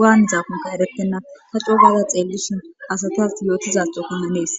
waan zaafunka eretenna ta xogala xeellison asatas yootizaxokannanees